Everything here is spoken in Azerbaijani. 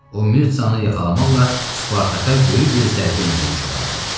O Mirtzəni yaxalamaqla Spartaka böyük bir zərbə endirmiş olardı.